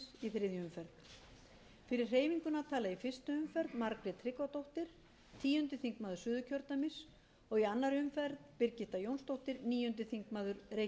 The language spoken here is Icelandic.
í þriðju umferð fyrir hreyfinguna tala í fyrstu umferð margrét tryggvadóttir tíundi þingmaður suðurkjördæmis og í annarri umferð birgitta jónsdóttir níundi þingmaður reykjavíkurkjrödæmis suður ræðumaður utan flokka þráinn